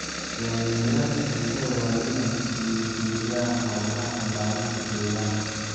Hoggaamiyeyaasha bulshada waa inay dhiirrigeliyaan hawlaha ilaalinta deegaanka.